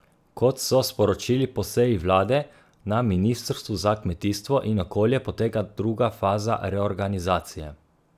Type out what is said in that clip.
Kot so sporočili po seji vlade, na Ministrstvu za kmetijstvo in okolje poteka druga faza reorganizacije.